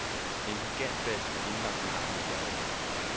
En gigantbas med indlagt navn i perlemor.